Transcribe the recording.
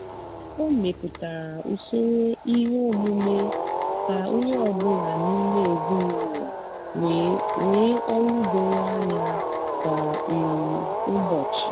o mepụtara usoro ihe omume ka onye ọ bụla n'ime ezinụlọ nwee ọlụ doro anya kwa um ụbọchị.